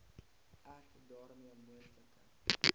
ek daarmee moontlike